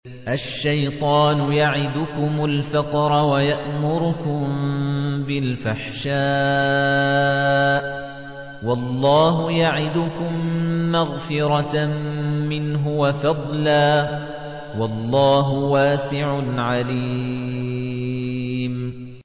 الشَّيْطَانُ يَعِدُكُمُ الْفَقْرَ وَيَأْمُرُكُم بِالْفَحْشَاءِ ۖ وَاللَّهُ يَعِدُكُم مَّغْفِرَةً مِّنْهُ وَفَضْلًا ۗ وَاللَّهُ وَاسِعٌ عَلِيمٌ